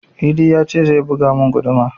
Idi ya ce zai buga mun guduma